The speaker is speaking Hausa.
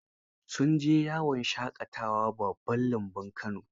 Sun je yawon shaƙatawa babban lambun Kano.